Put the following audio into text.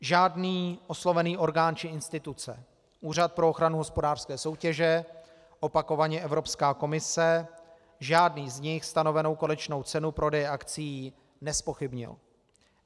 Žádný oslovený orgán či instituce, Úřad pro ochranu hospodářské soutěže, opakovaně Evropská komise, žádný z nich stanovenou konečnou cenu prodeje akcií nezpochybnil.